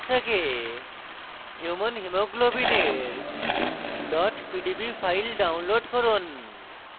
pdb database থেকে human হিমোগ্লোবিলের pdb file download করুন